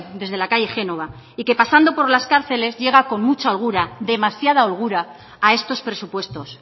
desde la calle génova y que pasando por las cárceles llega con mucha holgura demasiada holgura a estos presupuestos